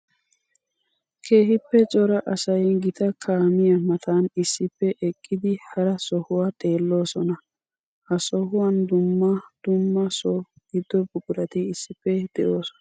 Keehippe cora asay gita kaamiya matan issippe eqqiddi hara sohuwa xeelosonna. Ha sohuwan dumna dumma so gido buquratt issippe de'osonna.